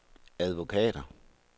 advokater